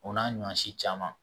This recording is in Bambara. O n'a ɲɔ si caman